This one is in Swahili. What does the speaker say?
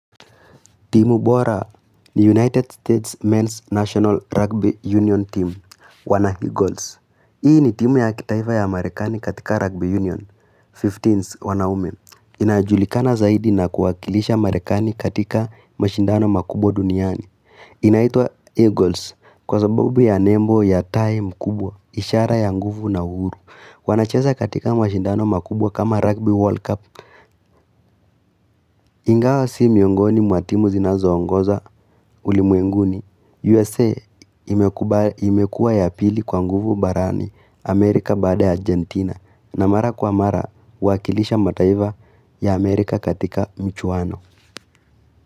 Timu bora ni United States Men's National Rugby Union team wana Eagles Hii ni timu ya kitaifa ya Amerikani katika Rugby Union Fifteens wanaume inajulikana zaidi na kuwakilisha Amerikani katika mashindano makubwa duniani inaitwa Eagles Kwa sababu ya Nembo ya time kubwa ishara ya nguvu na uhuru wanacheza katika mashindano makubwa kama Rugby World Cup Ingawa si miongoni mwa timu zinazo ongoza ulimwenguni. USA imekuwa ya pili kwa nguvu barani Amerika baada Argentina na mara kwa mara wakilisha mataifa ya Amerika katika mchuwano.